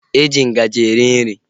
Eji ngaji eri nri